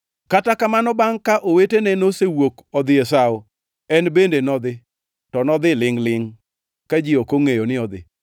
Kata kamano bangʼ ka owetene nosewuok odhi e sawo, en bende nodhi, to nodhi lingʼ-lingʼ ka ji ok ongʼeyo ni odhi.